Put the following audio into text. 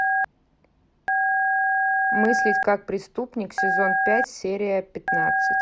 мыслить как преступник сезон пять серия пятнадцать